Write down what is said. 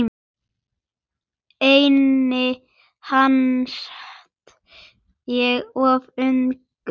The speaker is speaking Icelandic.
Henni fannst ég of ungur.